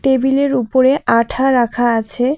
টেবিলের উপরে আঠা রাখা আছে।